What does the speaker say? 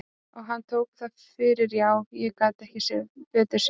Og hann tók það fyrir já, ég gat ekki betur séð.